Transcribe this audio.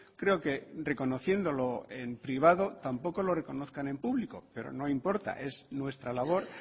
creo que reconociéndolo en privado tampoco lo reconozcan en público pero no importa es nuestra labor